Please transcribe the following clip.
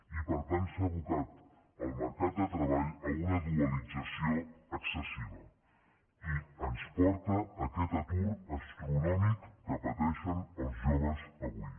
i per tant s’ha abocat el mercat de treball a una dualització excessiva i ens porta a aquest atur astronòmic que pateixen els joves avui